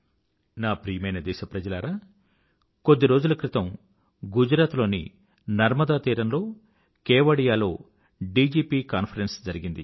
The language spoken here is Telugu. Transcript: నా ప్రియమైన దేశప్రజలారా కొద్ది రోజుల క్రితం గుజరాత్ లోని నర్మదాతీరంలోని కేవడియాలో డీజీపీ కాన్ఫరెన్స్ జరిగింది